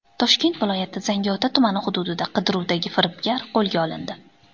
Toshkent viloyati Zangiota tumani hududida qidiruvdagi firibgar qo‘lga olindi.